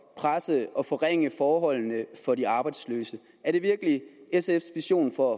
presse og forringe forholdene for de arbejdsløse er det virkelig sfs vision for